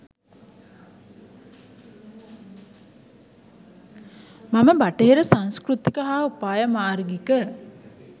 මම බටහිර සංස්කෘතික හා උපායමාර්ගික